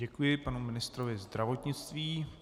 Děkuji panu ministrovi zdravotnictví.